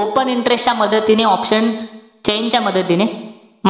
Open interest च्या मदतीने option chain च्या मदतीने,